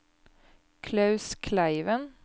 Klaus Kleiven